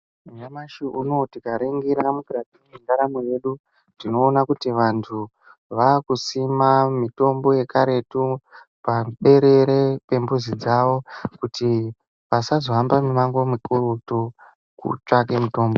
Nyamashi unowu tikaringira mukati mendaramo yedu tinoona kuti vantu vakusima mitombo yekaretu paberere pembuzi dzavo kuti vasazohamba mimango mikurutu kutsvake mitombo.